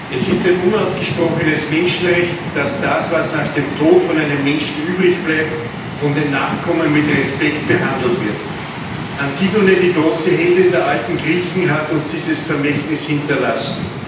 Herr Präsident! Es ist ein unausgesprochenes Menschenrecht, dass das, was nach dem Tod von einem Menschen übrig bleibt, von den Nachkommen mit Respekt behandelt wird. Antigone die große Heldin der alten Griechen hat uns dieses Vermächtnis hinterlassen.